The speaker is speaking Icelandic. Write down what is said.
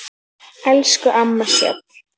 Elsku amma Sjöfn.